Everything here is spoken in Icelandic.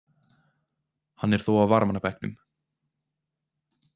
Hann er þó á varamannabekknum.